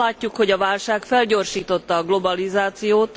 Azt látjuk, hogy a válság felgyorsította a globalizációt.